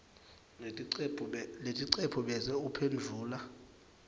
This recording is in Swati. leticephu bese uphendvula